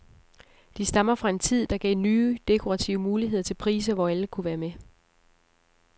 De stammer fra en tid, der gav nye dekorative muligheder til priser, hvor alle kunne være med.